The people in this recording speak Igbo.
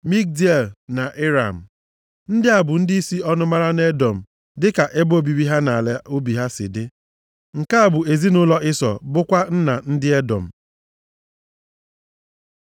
Magdiel na Iram. Ndị a bụ ndịisi ọnụmara nʼEdọm, dịka ebe obibi ha na ala obi ha si dị. Nke a bụ ezinaụlọ Ịsọ bụkwa nna ndị Edọm.